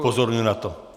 Upozorňuji na to.